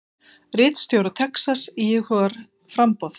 Ríkisstjóri Texas íhugar framboð